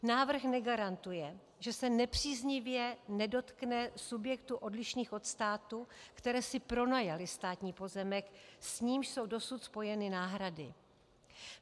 Návrh negarantuje, že se nepříznivě nedotkne subjektů odlišných od státu, které si pronajaly státní pozemek, s nímž jsou dosud spojeny náhrady.